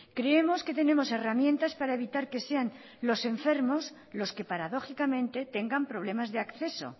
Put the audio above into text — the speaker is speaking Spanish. creemos que tenemos herramientas para evitar que sean los enfermos los que paradójicamente tengan problemas de acceso